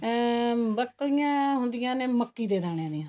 ਅਮ ਬੱਕਲੀਆਂ ਹੁੰਦੀਆਂ ਨੇ ਮੱਕੀ ਦੇ ਦਾਣੇ ਦੀਆਂ